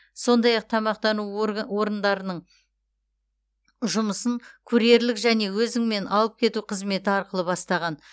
сондай ақ тамақтану орындарының жұмысын курьерлік және өзіңмен алып кету қызметі арқылы бастаған